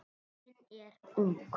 Nóttin er ung